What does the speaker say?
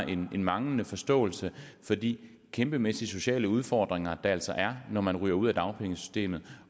en manglende forståelse for de kæmpemæssige sociale udfordringer der altså er når man ryger ud af dagpengesystemet